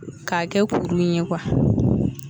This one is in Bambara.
K'a kɛ kurun in ye kuwa